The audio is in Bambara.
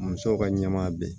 Musow ka ɲɛmaa bɛ